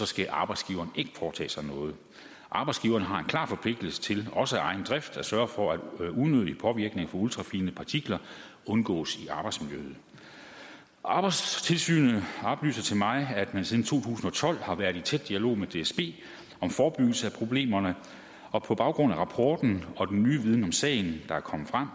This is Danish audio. skal arbejdsgiveren ikke foretage sig noget arbejdsgiveren har en klar forpligtelse til også af egen drift at sørge for at unødig påvirkning fra ultrafine partikler undgås i arbejdsmiljøet arbejdstilsynet oplyser til mig at man siden to tusind og tolv har været i tæt dialog med dsb om forebyggelse af problemerne og på baggrund af rapporten og den nye viden om sagen der er kommet frem